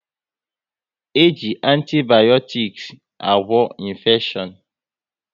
E ji antibayotiks agwa infeshion